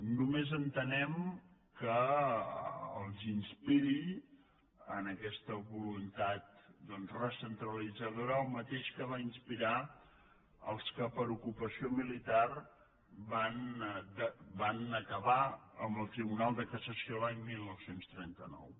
només entenem que els inspiri en aquesta voluntat doncs recentralitzadora el mateix que va inspirar els que per ocupació militar van acabar amb el tribunal de cassació l’any dinou trenta nou